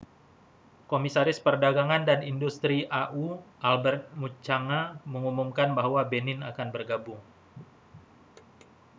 komisaris perdagangan dan industri au albert muchanga mengumumkan bahwa benin akan bergabung